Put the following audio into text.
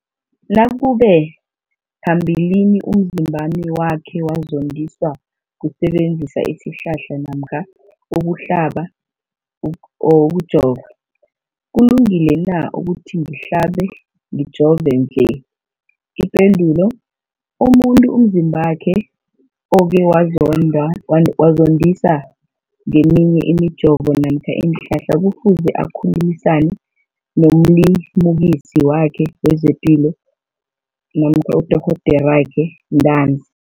Umbuzo, nakube phambilini umzimbami wakhe wazondiswa kusebenzisa isihlahla namkha ukuhlaba, ukujova, kulungile na ukuthi ngihlabe, ngijove nje? Ipendulo, umuntu umzimbakhe okhe wazondiswa ngeminye imijovo namkha iinhlahla kufuze akhulumisane nomlimukisi wakhe wezepilo namkha nodorhoderakhe ntanzi.